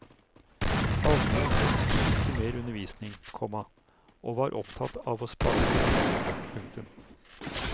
Allmuen ønsket ikke mer undervisning, komma og var opptatt av å spare penger. punktum